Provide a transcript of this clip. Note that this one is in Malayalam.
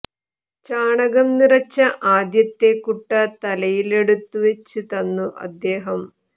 ചാണകം നിറച്ച ആദ്യത്തെ കുട്ട തലയിലെടുത്തു വെച്ച് തന്നു അദേഹം